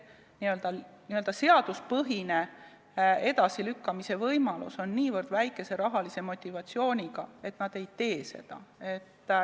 Nii-öelda seaduspõhine edasilükkamise võimalus on niivõrd väikese rahalise motivatsiooniga, et nad ei tee seda.